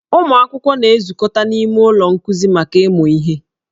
Ụmụ akwụkwọ na-ezukọta n'ime ụlọ nkuzi maka ịmụ ihe.